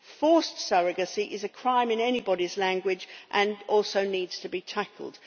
Forced surrogacy is a crime in anybody's language and also needs to be tackled.